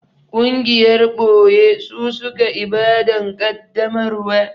Gungiyar ɓoye su suka Ibadan kaddamarwa